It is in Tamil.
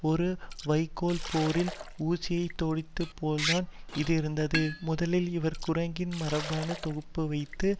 ஒரு வைக்கோல் போரில் ஊசியைத் தேடியது போல்தான் இது இருந்தது முதலில் இவர் குரங்கின் மரபணு தொகுப்பைவைத்து